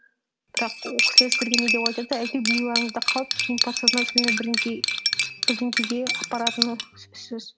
бірақ ол кісілер сіздерге не деп айтады да әйтеуір миларыңызда қалып кейін подсознательно бірдеңеге апаратыны сөзсіз